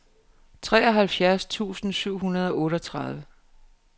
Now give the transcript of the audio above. treoghalvtreds tusind syv hundrede og otteogtredive